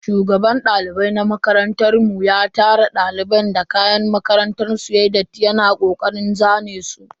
Shugaban daliban makarantan mu ya tara daliban da kayan makarantar su yayi datti yana kokarin zane su.